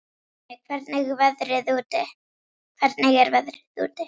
Jonni, hvernig er veðrið úti?